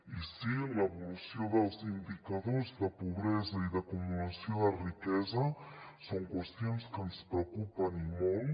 i sí l’evolució dels indicadors de pobresa i d’acumulació de riquesa són qüestions que ens preocupen i molt